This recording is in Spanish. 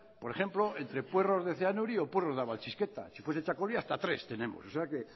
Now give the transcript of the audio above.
por ejemplo entre puerros de zeanuri o puerros de abaltzisketa si fuese txakoli hasta tres tenemos o sea que